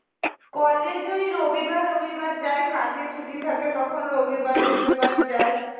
college ওই রবিবার রবিবার যাই কাজে ছুটি থাকে তখন রবিবার রবিবার যাই